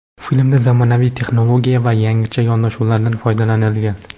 Filmda zamonaviy texnologiya va yangicha yondashuvlardan foydalanilgan.